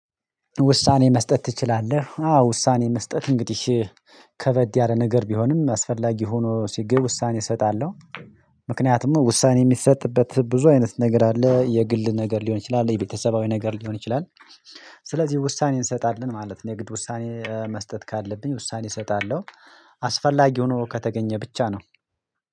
ውሳኔ መስጠት ትችላለህ? አዎ! ውሳኔ መስጠት እንግዲህ ከበድ ያለ ነገር ቢሆንም አስፈላጊ ሆኖ ሲገኝ ውሳኔ እሰጣለሁ። ምክንያቱም ውሳኔ የሚሰጥበት ብዙ አይነት ነገር አለ የግል ነገር ሊሆን ይችላል፣ የቤተሰባዊ ነገር ሊሆን ይችላል ስለዚህ ውሳኔ እንሰጣለን ማለት ነው የግድ ውሳኔ መስጠት ካለብኝ ውሳኔ እሰጣለሁ። አስፈላጊ ሆኖ ከተገኘ ብቻ ነው